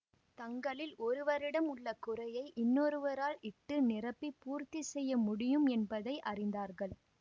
தங்களில் ஒருவரிடம் உள்ள குறையை இன்னொருவரால் இட்டு நிரப்பிப் பூர்த்தி செய்ய முடியும் என்பதை அறிந்தார்கள்